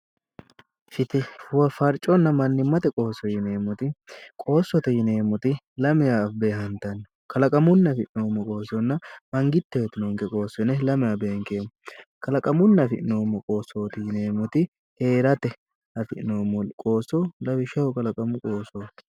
fitihe woy farchonna mannimate qoosso yineemmoti qoossote yineemmoti lamewa beehantanno kalaqamunni afi'noommo qoossonna mangitte uytinonke qoosso yine lamewa beenkoommo. kalaqamunni afi'noommo qoosso yineemmoti heerate afi'noommo qoosso lawishshaho kalaqamu afi'noommo qoossooti.